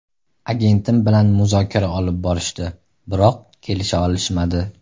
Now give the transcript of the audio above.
Agentim bilan muzokara olib borishdi, biroq kelisha olishmadi.